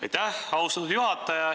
Aitäh, austatud juhataja!